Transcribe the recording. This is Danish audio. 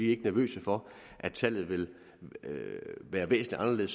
ikke nervøse for at tallet vil være væsentligt